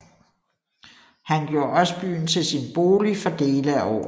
Han gjorde også byen til sin bolig for dele af året